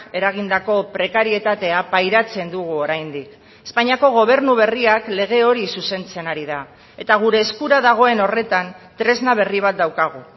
eragindako prekarietatea pairatzen dugu oraindik espainiako gobernu berriak lege hori zuzentzen ari da eta gure eskura dagoen horretan tresna berri bat daukagu